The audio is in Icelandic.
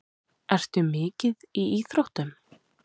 Ertu mikið í íþróttum?